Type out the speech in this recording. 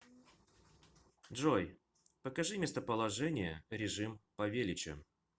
джой покажи местоположение режим павелича